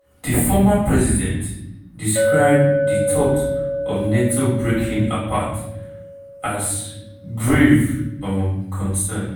di former president describe di thought of nato breaking apart as "grave um concern".